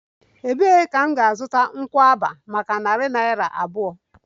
Ebee ka m ga-azụta pineapple maka narị naira abụọ?